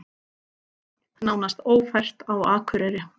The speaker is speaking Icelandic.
Nánast ófært á Akureyri